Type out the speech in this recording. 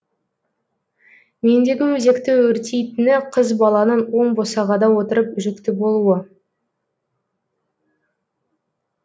мендегі өзекті өртейтіні қыз баланың оң босағада отырып жүкті болуы